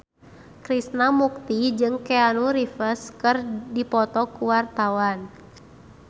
Krishna Mukti jeung Keanu Reeves keur dipoto ku wartawan